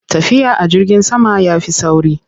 Tafiya a jirgin sama ya fi sauri.